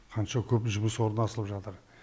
қанша көп жұмыс орны ашылып жатыр